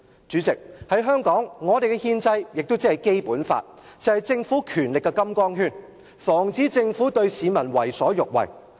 主席，在香港，我們的憲制文件《基本法》，是政府權力的"金剛圈"，防止政府對市民為所欲為。